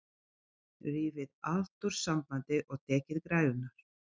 Rifið allt úr sambandi og tekið græjurnar.